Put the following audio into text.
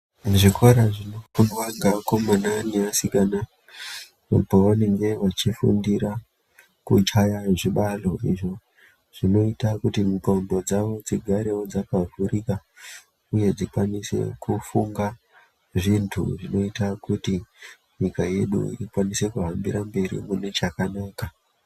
Muzvikora zvinofundwa ngakomana neasikana mwavanenge vachifundira kuchaya zvibalo izvo zvinoita kuti ndxondo dzavo dzigarewo dzakavhurika uye dzikwanise kufunge zvintu zvinoita kuti nyika yedu ikwanise kuhambira mberi mune chakanaka.